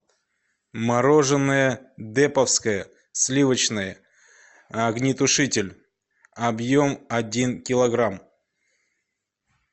мороженое деповское сливочное огнетушитель объем один килограмм